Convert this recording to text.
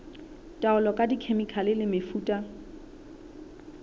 taolo ka dikhemikhale le mefuta